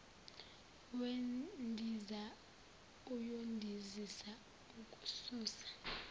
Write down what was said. wendiza uyondizisa okususa